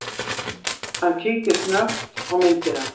Hann kíkti snöggt á myndina.